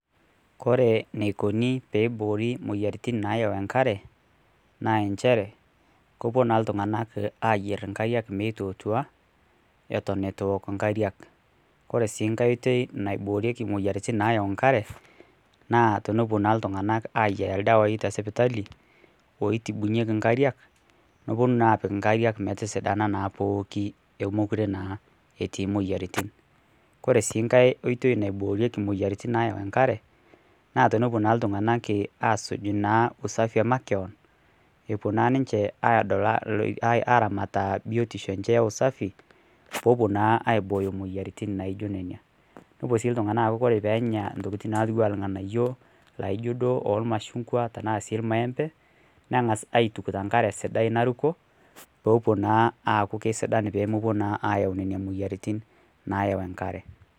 Kore neikoni peiboori moyaritin nayau nkaree naa enshere kopuo naa ltunganak ayer nkariak meitootua eton etuu ewok nkariak kore sii ng'hai oitei naiboorieki moyaritin nayau nkaree naa tenepuo naa ltung'anak aiyaa ldawai te sipitalii oitibunyekii nkariak neponuu naa apik nkariak metisidanaa naa pookii omokuree naa etii moyaritin, kore sii nghai oitei naiboorieki moyaritin nayau nkare naa tenepuo naa ltung'anak asuj naa usafii emakeon epuo naa ninshee adol aramataa biotishoo enshee eusafii peepuo naa aibooyo moyaritin naijo nenia nopuo sii ltung'ana aaku kore peenya ntokitin natuwaa lganayoo laijoo duo olmachung'wa tanaa sii lmaempee nengaz aituk tenkaree sidai narukoo peepuo naa aaku keisidan peemepuo naa ayau nenia moyaritin nayau enkaree.